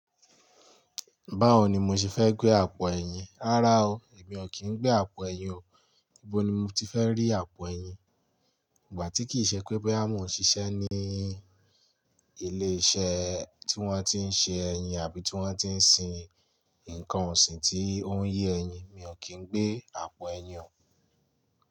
Báwo ni mo ṣe fẹ́ gbé àpò ẹ̀yìn? Rárá o, èmi ò kí ń gbé àpò ẹ̀yìn o. Íbo ni mo ti fẹ́ rí àpò ẹ̀yìn? Ìgbà tí kì í ṣe pé boya mo ń ṣiṣẹ́ ní ilé-iṣẹ́ tí wọ́n ti ń ṣe ẹ̀yìn àbí tí wọ́n ti ń sin ǹnkan ọ̀sìn tí ó ń ye ẹ̀yìn, mi ò kí ń gbé àpò ẹ̀yìn o.